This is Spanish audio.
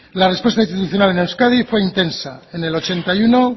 la respuesta institucional en euskadi fue intensa en el ochenta y uno